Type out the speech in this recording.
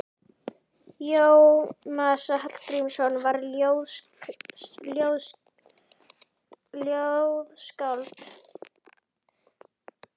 Jónas Hallgrímsson var ljóðskáld.